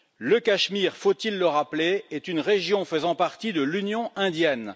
Le Cachemire, faut il le rappeler, est une région faisant partie de l'Union indienne.